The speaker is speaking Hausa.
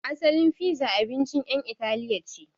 Asalin fiza abincin ƴan Itali ce.